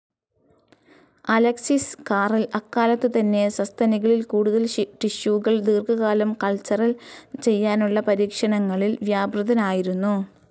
Alexis Carrel അക്കാലത്തുതന്നെ സസ്തനികളിൽ കൂടുതൽ ടിഷ്യുകൾ ദീർഘകാലം കൾച്ചർ ചെയ്യാനുള്ള പരീക്ഷണങ്ങളിൽ വ്യാപൃതനായിരുന്നു.